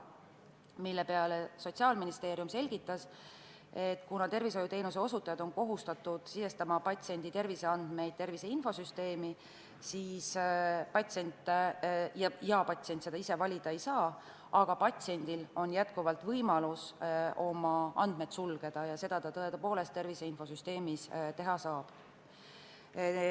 Selle peale Sotsiaalministeeriumi esindaja selgitas, et tervishoiuteenuse osutajad on kohustatud sisestama patsiendi terviseandmeid tervise infosüsteemi ja patsient seda ise otsustada ei saa, aga patsiendil on jätkuvalt võimalus oma andmed sulgeda ja seda ta tõepoolest tervise infosüsteemis teha saab.